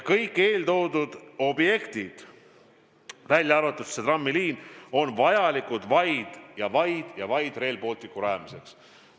Kõik need objektid, välja arvatud see trammiliin, on vajalikud vaid Rail Balticu rajamiseks.